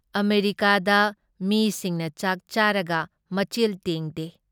ꯑꯃꯦꯔꯤꯀꯥꯗ ꯃꯤꯁꯤꯡꯅ ꯆꯥꯛ ꯆꯥꯔꯒ ꯃꯆꯤꯜ ꯇꯦꯡꯗꯦ ꯫